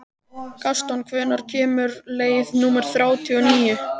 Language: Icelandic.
Gaston, hvenær kemur leið númer þrjátíu og níu?